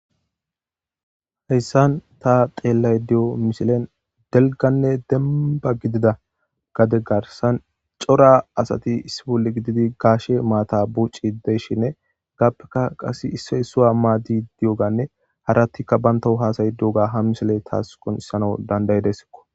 Haysan ta xeelashe dizaisilen dalganne demba godida gade garsan cora asati issi bolla gididi gashe maata bucishe de'ishini hegappeka issay issa madido diyogane harati qase bantaw hasa'idi diyoga ha misiley tasi qoncisidesamaw danda'idesko